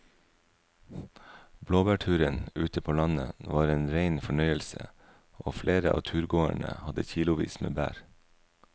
Blåbærturen ute på landet var en rein fornøyelse og flere av turgåerene hadde kilosvis med bær.